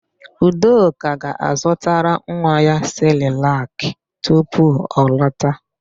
Udoka ga-azụtara nwa ya sịrịlakị tupu ọ lọta.